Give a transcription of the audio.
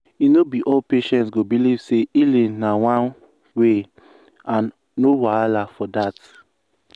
e no be all patients go believe say healing na one way and no wahala for that.